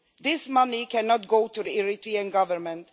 This money cannot go to the Eritrean Government.